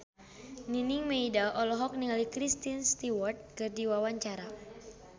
Nining Meida olohok ningali Kristen Stewart keur diwawancara